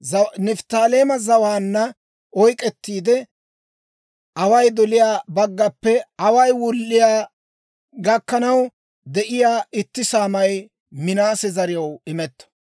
Nifttaaleema zawaanna oyk'k'ettiide, away doliyaa baggappe away wulliyaa gakkanaw de'iyaa itti saamay Minaase zariyaw imetto.